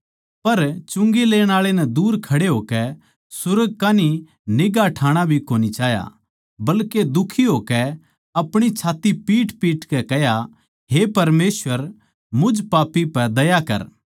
पर चुंगी लेण आळे नै दूर खड़े होकै सुर्ग कै कान्ही निगांह ठाणा भी कोनी चाह्या बल्के दुखी होकै अपणी छात्त्ती पीटपीटकै कह्या हे परमेसवर मुझ पापी पै दया कर